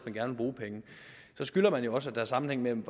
bruge penge så skylder man jo også at der er sammenhæng mellem